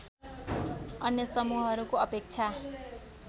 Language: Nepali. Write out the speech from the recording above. अन्य समूहहरूको अपेक्षा